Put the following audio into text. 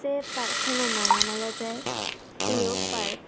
ei park anot nang an olode eco park.